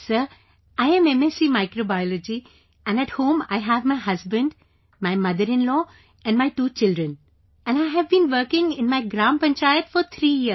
Sir, I am MSC Microbiology and at home I have my husband, my motherinlaw and my two children and I have been working in my Gram Panchayat for three years